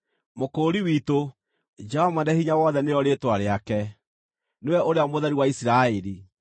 Mũkũũri witũ, Jehova Mwene-Hinya-Wothe nĩrĩo Rĩĩtwa rĩake, nĩwe Ũrĩa Mũtheru wa Isiraeli.